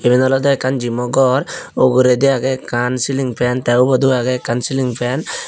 iben olowdey ekkan jimo gor ugredi agey ekkan siling fan tey ubodow agey ekkan siling fan.